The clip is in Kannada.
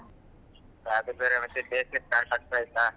ಅದು ಬೇರೆ ಬೇಸ್ಗೆ start ಆಗ್ತಾಯ್ತಾ.